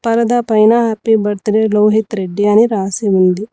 పరద పైన happy birthday Lohith Reddy అని రాసి ఉంది.